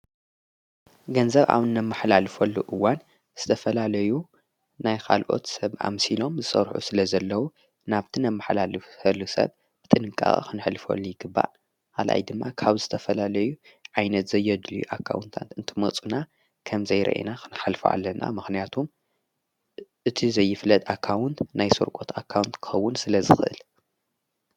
ገንዘብ ኣብእነብመሕላልፈሉ እዋን ዝተፈላለዩ ናይ ኻልኦት ሰብ ኣምሲሎም ዝሠርሑ ስለ ዘለዉ ናብቲ ን ኣብ መሕላ ልፈሉ ሰብ ብጥንቃ ኽንሕልፈሉ ይግባል ኣልኣይ ድማ ካብ ዝተፈላለዩ ዓይነት ዘየድልዩ ኣካውንታንት ።እንትመጹና ከም ዘይረአና ኽንሐልፉ ኣለና ምኽንያቱም እቲ ዘይፍለጥ ኣካውንት ናይ ሠርቆት ኣካውንቲ ክውን ስለ ዝኽእል አዮ።